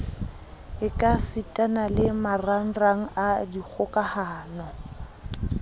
ekasitana le marangrang a dikgokahano